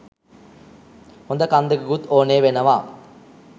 හොද කන් දෙකකුත් ඕනේ වෙනවා